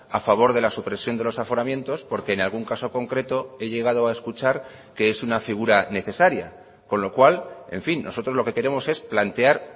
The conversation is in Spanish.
a favor de la supresión de los aforamientos porque en algún caso concreto he llegado a escuchar que es una figura necesaria con lo cual en fin nosotros lo que queremos es plantear